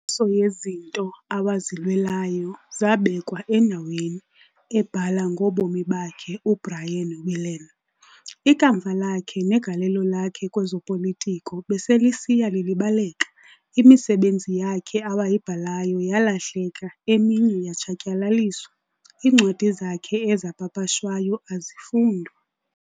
"Inkoliso yezinto awazilwelayo zabekwa endaweni," ebhala ngobomi bakhe uBrian Willan, "Ikamva lakhe negalelo lakhe kwezepolitiko beselisiya lilibaleka, imisebenzi yakhe awayibhalayo yaalahleka eminye yatshatyalaliswa, iincwadi zakhe ezapapashwayo azifundwa